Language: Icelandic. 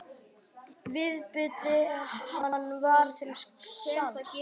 Viðbiti hann var til sanns.